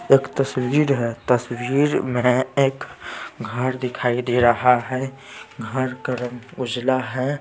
एक तस्वीर हैं तस्वीर में एक घर दिखाई दे रहा हैं घर का रंग उजला हैं ।